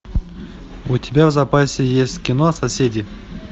у тебя в запасе есть кино соседи